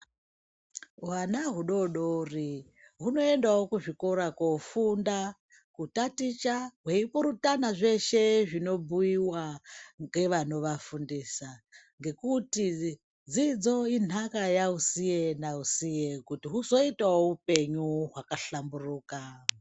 Hwana hudodori hunoendawo kuzvikora koofunda, kutaticha, hweipurutana zveshe zvinobhuiwa ngevanovafundisa, ngekuti dzidzo inhaka yausiye nausiye kuti huzoitawo upenyu hwakahlamburuka.